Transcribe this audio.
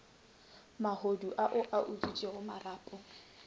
mahodu ao a utswitšego marapo